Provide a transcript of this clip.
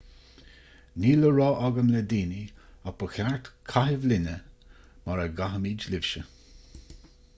níl le rá agam le daoine ach ba cheart caitheamh linne mar a gcaithimid libhse